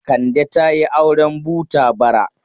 Kande ta yi auren buta bara.